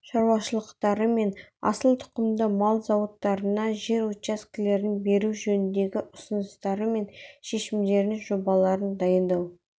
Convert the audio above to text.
шаруашылықтары мен асыл тұқымды мал зауыттарына жер учаскелерін беру жөніндегі ұсыныстары мен шешімдерінің жобаларын дайындау